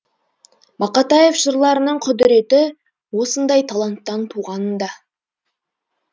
мақатаев жырларының құдіреті осындай таланттан туғанында